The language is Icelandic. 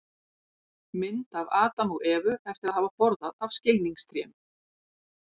mynd af adam og evu eftir að hafa borðað af skilningstrénu